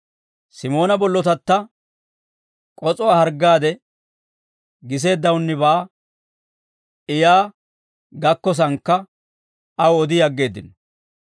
Simoona bollotatta k'os'uwaa harggaade giseeddawunnibaa I yaa gakkosaannakka aw odi aggeeddino.